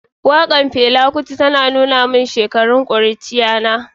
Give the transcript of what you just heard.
Wakar Fela kuti ta tuna min shekarun kuruciyata.